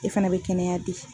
E fana be kɛnɛya di.